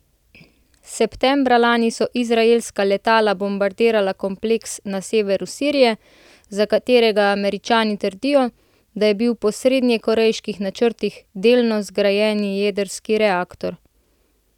Septembra lani so izraelska letala bombardirala kompleks na severu sirije, za katerega Američani trdijo, da je bil po severnokorejskih načrtih delno zgrajeni jedrski reaktor.